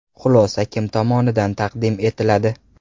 Xulosa kim tomonidan taqdim etiladi?